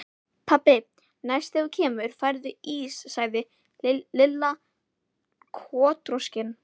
Pabbi, næst þegar þú kemur færðu ís sagði Lilla kotroskin.